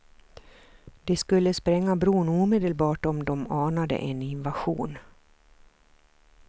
De skulle spränga bron omedelbart om de anade en invasion.